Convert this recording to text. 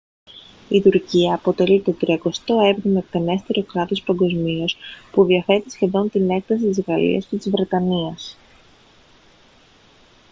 η τουρκία αποτελεί το τριακοστό έβδομο εκτενέστερο κράτος παγκοσμίως που διαθέτει σχεδόν την έκταση της γαλλίας και της βρετανίας